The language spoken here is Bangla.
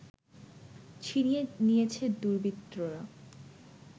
ছিনিয়ে নিয়েছে দুর্বৃত্তরা